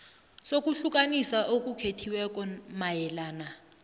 sokuhlukaniswa okukhethekileko mayelana